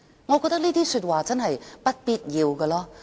"我覺得這些說話是不必要的。